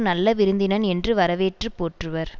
நல்ல விருந்தினன் என்று வரவேற்று போற்றுவர்